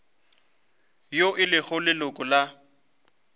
yo e lego leloko la